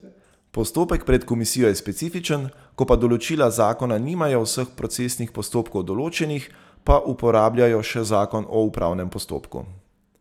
Postopek pred komisijo je specifičen, ko pa določila zakona nimajo vseh procesnih postopkov določenih, pa uporabljajo še zakon o upravnem postopku.